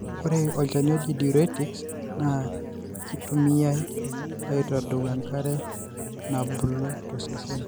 ore Olchani loji Diuretics na kitumiyiai aitadou enkare nabulu tosesen.